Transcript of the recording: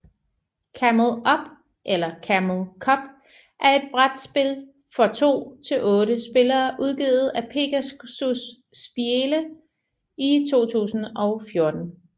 Camel Up eller Camel Cup er et brætspil for to til otte spillere udgivet af Pegasus Spiele i 2014